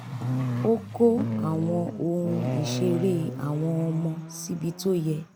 ó kó àwọn ohun ìṣeré àwọn ọmọ síbi tó yẹ